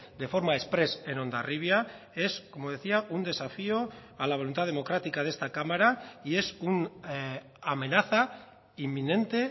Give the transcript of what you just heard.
de forma exprés en hondarribia es como decía un desafío a la voluntad democrática de esta cámara y es una amenaza inminente